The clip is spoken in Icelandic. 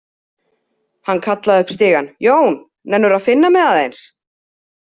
Hann kallaði upp stigann: „Jón, nennirðu að finna mig aðeins“?